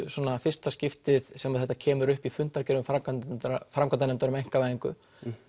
svona fyrsta skiptið sem þetta kemur upp í fundargerðum framkvæmdarnefndar framkvæmdarnefndar um einkavæðingu